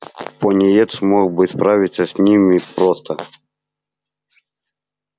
пониетс мог бы справиться с ними просто